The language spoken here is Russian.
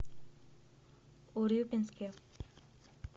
урюпинске